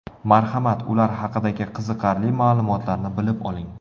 Marhamat, ular haqidagi qiziqarli ma’lumotlarni bilib oling.